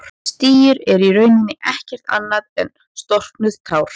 Stírur eru í rauninni ekkert annað en storknuð tár.